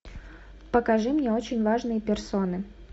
покажи мне очень важные персоны